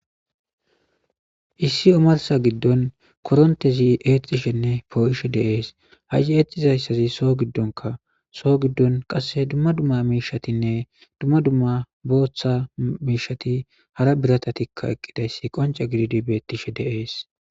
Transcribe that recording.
Issi omarsa giddon korontezi eexxishenne poo'ishe deees ha eexizayssazi soo giddonka soo giddon qasse dumma dumma miishatinne dumma dumma booththa miishati hara birata tikka eqqidayssi qonca gididi bettishe deees.